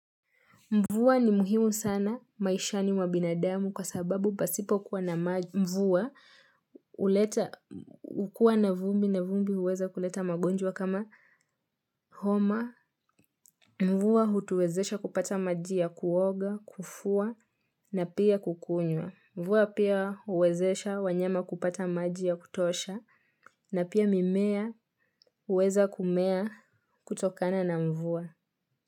Mvua ni muhimu sana, maisha ni mwabinadamu kwa sababu pasipo kuwa na mvua, huleta ukuwa na vumbi na vumbi uweza kuleta magonjwa kama homa. Mvua hutuwezesha kupata maji ya kuoga, kufua na pia kukunywa. Mvua pia uwezesha wanyama kupata maji ya kutosha na pia mimea uweza kumea kutokana na mvuwa.